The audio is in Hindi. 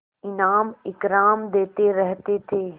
इनाम इकराम देते रहते थे